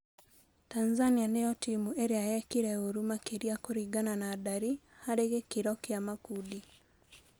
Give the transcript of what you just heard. Tanzania nĩ yo timu ĩ rĩ a yekire ũru makĩ ria kũringana na ndari harĩ gĩ kĩ ro kĩ a makundi.